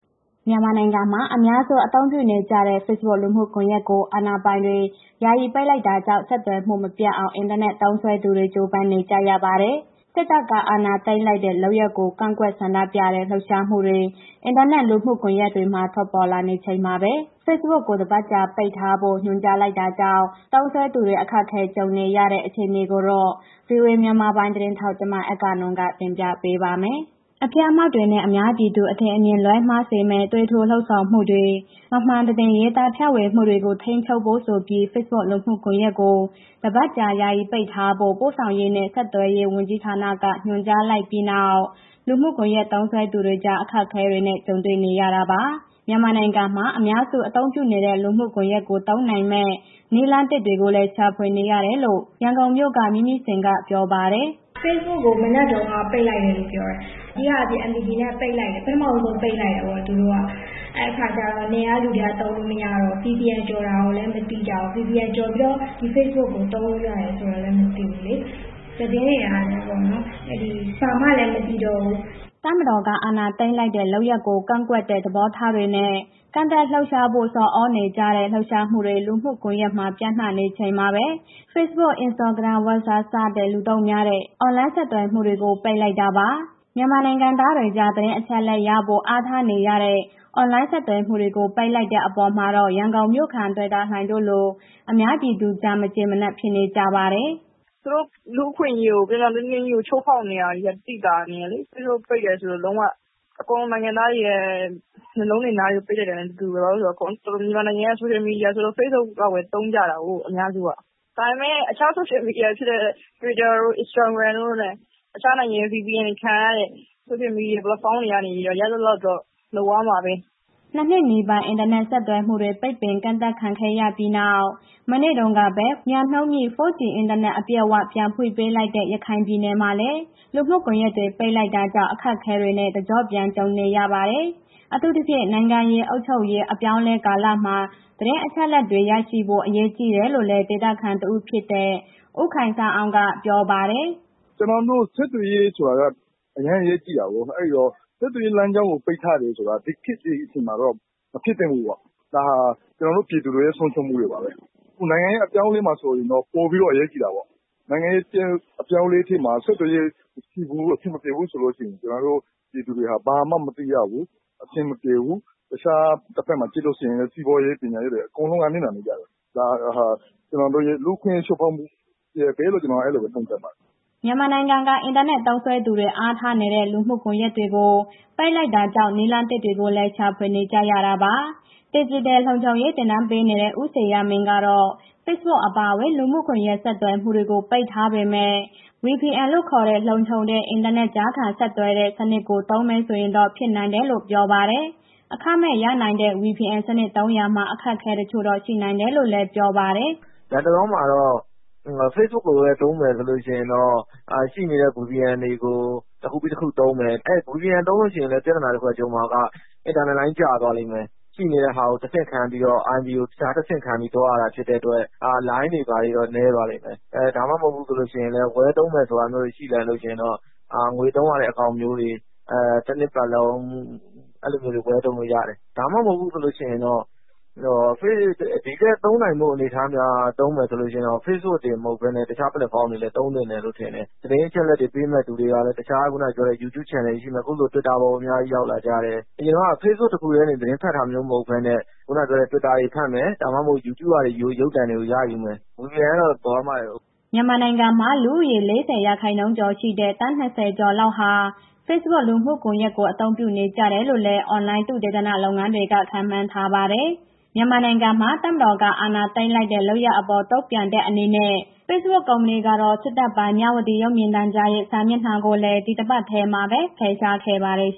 မြန်မာနိုင်ငံမှာ အများစု အသုံးပြုနေကြတဲ့ ဖေ့စ်ဘွတ်လူမှုကွန်ရက်ကို အာဏာပိုင်တွေ ယာယီပိတ်လိုက်တာကြောင့် ဆက်သွယ်မှုတွေ မပြတ်အောင် အင်တာနက်သုံးသူတွေ ကြိုးပမ်းနေကြရပါတယ်။ စစ်တပ်က အာဏာသိမ်းလိုက်တဲ့ လုပ်ရပ်တွေကို ကန့်ကွက်ဆန္ဒပြတဲ့ လှုပ်ရှားမှုတွေ အင်တာနက်လူမှုကွန်ရက်တွေမှာ ထွက်ပေါ်လာနေချိန်မှာပဲ ဖေ့စ်ဘွတ်ကို တပတ်ကြာပိတ်ထားဖို့ ညွှန်ကြားလိုက်တာကြောင့် သုံးစွဲသူတွေ အခက်ကြုံနေကြရတဲ့ အခြေအနေကိုတော့ ဗွီအိုအေ မြန်မာပိုင်းသတင်းထောက် မအဂ္ဂနွန်က တင်ပြပေးပါမယ်။ အဖျက်အမှောင့်တွေနဲ့ အများပြည်သူ အထင်အမြင်လွဲမှားစေမယ့် သွေးထိုးလှုံ့ဆော်မှုတွေ၊ မမှန်သတင်း ရေးသားဖြန့်ဝေမှုတွေကို ထိန်းချုပ်ဖို့ဆိုပြီး ဖေ့စ်ဘွတ်လူမှုကွန်ရက်ကို တပတ်ကြာ ယာယီပိတ်ထားဖို့ ပို့ဆောင်ရေးနဲ့ ဆက်သွယ်ရေးဝန်ကြီးဌာနက ညွှန်ကြားလိုက်ပြီးနောက် လူမှုကွန်ရက်သုံးသူတွေကြား အခက်အခဲတွေ ကြုံနေကြရတာပါ။ မြန်မာနိုင်ငံမှာ လူများစု အသုံးပြုနေတဲ့ လူမှုကွန်ရက်ကို သုံးနိုင်မယ့် နည်းလမ်းသစ်တွေကိုလည်း ရှာဖွေနေရတယ်လို့ ရန်ကုန်မြို့က မမြင့်မြင့်ဇင်က ပြောပါတယ်။ “Facebook ကို မနက်တုန်းက ပိတ်လိုက်တာလို့ ပြောတယ်။ အဓိကအားဖြင့် MPT ကို ပိတ်လိုက်တယ်၊ ပထမဦးဆုံး ပိတ်လိုက်တယ်ပေါ့ သူက။ အဲ့ဒါကျတော့ နယ်ကလူတွေက သုံးလို့မရတော့ဘူး၊ VPN ကျော်တာလည်း မသိကြဘူး၊ VPN ကျော်ပြီးတော့ ဒီ Facebook ကို သုံးလို့ရတာဆိုတာလည်း မသိဘူးလေ၊ သတင်းတွေကလည်း ဘာမှကိုမသိရတော့ဘူး။” တပ်မတော်က အာဏာသိမ်းလိုက်တဲ့ လုပ်ရပ်ကို ကန့်ကွက်တဲ့သဘောထားတွေနဲ့ ကန့်ကွက်လှုပ်ရှားဖို့ ဆော်သြနေကြတဲ့ လှုပ်ရှားမှုတွေ လူမှုကွန်ရက်တွေမှာ ပျံ့နှံ့နေချိန်မှာပဲ ဖေ့စ်ဘွတ်၊ instagram၊ Whatsapp စတဲ့ လူသုံးများတဲ့ အွန်လိုင်းဆက်သွယ်မှုတွေကို ပိတ်လိုက်တာပါ။ မြန်မာနိုင်ငံသားတွေကြား သတင်းအချက်အလက်ရဖို့ အားထားနေရတဲ့ အွန်လိုင်းဆက်သွယ်မှုတွေကို ပိတ်လိုက်တဲ့အပေါ်မှာတော့ ရန်ကုန်မြို့ခံ တွယ်တာလှိုင်တို့လို အများပြည်သူကြား မကျေမနပ် ဖြစ်နကြပါတယ်။ “သူတို့ လူ့အခွင့်အရေးကို ပြောင်ပြောင်တင်းတင်းကြီးကို ချိုးဖောက်နေတာကိုသိသာနေတယ်လေ၊ Facebook ပိတ်တယ်ဆိုတော့ လုံးဝအကုန်လုံး နိုင်ငံသားတွေရဲ့ မျက်လုံးတွေ၊ နားတွေပိတ်လိုက်တာနဲ့တူတူပဲ။ ဘာလဲဆိုတော့ မြန်မာနိုင်ငံရဲ့ ဆိုရှယ်မီဒီယာဆိုတော့ Facebook လောက်ပဲ သုံးကြတယ်တာကို အများစုက ဒါပေမဲ့ အခြားဆိုရှယ်မီဒီယာဖြစ်တဲ့ Twitter တို့၊ Instagram တို့ အခြားနိုင်ငံရဲ့ VPN ခံရတဲ့ ဆိုရှယ်မီဒီယာ ပလက်ဖောင်းတွေကနေပြီးတော့ ရသလောက်တော့ လုပ်ရမှာပဲ။” နှစ်နှစ်နီးပါး အင်တာနက်ဆက်သွယ်မှုတွေ ပိတ်ပင်ကန့်သတ်ခံခဲ့ရပြီးနောက် မနေ့တုန်းပဲ မြန်နှုန်းမြင့် 4G အင်တာနက် အပြည့်အ၀ ပြန်ဖွင့်ပေးလိုက်တဲ့ ရခိုင်ပြည်နယ်မှာလည်း လူမှုကွန်ရက်တွေ ပိတ်လိုက်တာကြောင့် အခက်အခဲတွေနဲ့ တကျော့ပြန် ကြုံနေရပါတယ်။ အထူးသဖြင့် နိုင်ငံရေး၊ အုပ်ချုပ်ရေး အပြောင်းအလဲကာလမှာ သတင်းအချက်အလက်တွေ ရရှိဖို့ အရေးကြီးတယ်လို့လည်း ဒေသခံတဦးဖြစ်တဲ့ ဦးခိုင်ဆန်းအောင်က ပြောပါတယ်။ “ကျနော်တို့ ဆက်သွယ်လို့ရေးဆိုတာက အရမ်းအရေးကြီးတာကို ပြီးတော့ ဆက်သွယ်ရေးလမ်းကြောင်းကို ပိတ်ထားတယ်ဆိုတာ ဒီခေတ်ဒီအချိန်မှာတော့ မဖြစ်သင့်ဘူး၊ ဒါဟာ ကျနော်တို့ပြည်သူတွေ့ရဲ့ ဆုံးရှုံးမှုတွေပါပဲ။ အခုနိုင်ငံရေးအပြောင်းအလဲမှာဆိုရင် ပိုပြီးအရေးကြီးတာပေါ့။ နိုင်ငံရေးအပြောင်းအလဲဖြစ်မှာ ဆက်သွယ်ရေး အဆင်မပြေဘူးဆိုလို့ ရှိရင် ကျနော်တို့ပြည်သူတွေဟာ ဘာမှမသိရဘူး။ အဆင်မပြေဘူး။ တခြားတစ်ဘက်မှာ ကြည့်လို့ရှိရင် စီးပွားရေး၊ ပညာရေးတွေ အကုန်လုံးက နစ်နာကြတယ်။ ဒါဟာ ကျနော်တို့ရဲ့ လူ့အခွင့်အရေးချိုးဖောက်မှု တစ်ရပ်ပဲလို့ ကျနော်အဲ့ဒီလိုပဲ သုံးသပ်တယ်။” မြန်မာနိုင်ငံက အင်တာနက်သုံးသူတွေ အားထားနေတဲ့ လူမှုကွန်ရက်တွေကို ပိတ်လိုက်တာကြောင့် နည်းလမ်းသစ်တွေကိုလည်း ရှာဖွေနေကြရတာပါ။ ဒီဂျစ်တယ်လုံခြုံရေးသင်တန်းပေးနေတဲ့ ဦးဇေယျာမင်းကတော့ ဖေ့စ်ဘွတ် အပါအဝင် လူမှုကွန်ရက် ဆက်သွယ်မှုတွေကို ပိတ်ထားပေမဲ့ VPN လို့ခေါ်တဲ့ လုံခြုံတဲ့ အင်တာနက်ကြားခံဆက်သွယ်တဲ့ စနစ်ကို သုံးမယ်ဆိုရင်တော့ ဖြစ်နိုင်တယ်လို့ ပြောပါတယ်။ အခမဲ့ပါ ရနိုင်တဲ့ VPN စနစ်သုံးရာမှာ အခက်အခဲတချို့တော့ ရှိနိုင်တယ်လို့လည်း ပြောပါတယ်။ “လတ်တလောမှာတော့ Facebook ကိုပဲ သုံးမယ်ဆိုလို့ရှိရင်တော့ ရှိနေတဲ့ VPN တွေကို တစ်ခုခုပြီး တစ်ခုသုံးမယ်။ အဲ့ဒီ VPN သုံးလို့ရှိရင်လည်း ပြဿနာတစ်ခုကြုံမှာက အင်တာလိုင်းကျသွားလိမ့်မယ်။ ရှိတဲ့ဟာကို တဆင့်ခံပြီး IP ကိုတခြားတဆင့်ခံပြီး လုပ်ရတယ်ဖြစ်တဲ့အတွက် လိုင်းတွေ ဘာတွေနည်းသွားတယ်။ ဒါမှမဟုတ် ဝယ်သုံးမယ်ဆိုတာ ရှိရင်တော့ ငွေသုံးရတဲ့ အကောင့်မျိုးတွေ တစ်နှစ်ပတ်လုံး အဲ့ဒီလိုမျိုးတွေ ဝယ်သုံးလို့ရတယ်။ ဒါမှမဟုတ်ဘူးဆိုလို့ရှိရင်တော့ ဒီထက်သုံးနိုင်ဖို့ အနေအထား များမယ်ဆိုလို့ ရှိရင်တော့ facebook တင် မဟုတ်ဘဲနဲ့ တခြားပလက်ဖောင်းတွေလည်း သုံးသင့်တယ်လို့ထင်တယ်။ သတင်းအချက်အလက်တွေ ပေးမယ့်သူတွေက တခြားခုဏပြောတဲ့ YouYube channel ရှိမယ်။ အခုလို Twitter အပေါ်မှာ အများကြီးရောက်လာကြတယ်။ အရင်ကလို facebook တစ်ခုထဲ သတင်းဖတ်တာ မဟုတ်ဘဲနဲ့ ခုဏပြောတဲ့ Twitter ပေါ်မှာ ဖတ်မယ်။ ဒါမှမဟုတ် YouTube ကနေ ရုပ်သံတွေရယူမယ်။ VPN ကတော့ အရမ်းမိုက်တယ်။” မြန်မာနိုင်ငံမှာ လူဦးရေရဲ့ ၄၀ ရာခိုင်နှုန်းကျော်ရှိတဲ့ သန်း ၂၀ ကျော်လောက်ဟာ Facebook လူမှုကွန်ရက်ကို အသုံးပြုနေကြတယ်လို့လည်း အွန်လိုင်းသုတေသန လုပ်ငန်းတွေက ခန့်မှန်းထားပါတယ်။ မြန်မာနိုင်ငံမှာ တပ်မတော်က အာဏာသိမ်းလိုက်တဲ့ လုပ်ရပ်အပေါ် တုံ့ပြန်တဲ့ အနေနဲ့ Facebook ကုမ္ပဏီကတော့ စစ်တပ်ပိုင် မြဝတီရုပ်မြင်သံကြားရဲ့ စာမျက်နှာကိုလည်း ဒီတပတ်ထဲမှာပဲ ဖယ်ရှားခဲ့ပါတယ်။